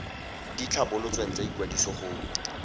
di tlhabolotsweng tsa ikwadiso go